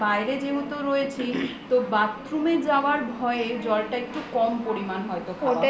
বাইরে যেহেতু রয়েছি তো bathroom এ যাওয়ার ভয়ে জল টা একটু কম পরিমান হয়ত খাওয়া হয়ে গেছে